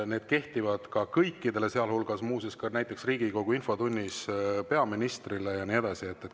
Need kehtivad kõikide kohta, sealhulgas muuseas näiteks Riigikogu infotunnis peaministri kohta ja nii edasi.